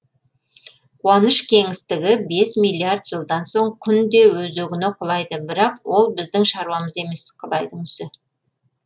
қуаныш кеңістігі бес миллиард жылдан соң күн де өзегіне құлайды бірақ ол біздің шаруамыз емес құдайдың ісі